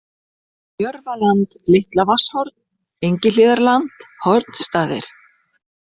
Jörfaland, Litla-Vatnshorn, Engihlíðarland, Hornstaðir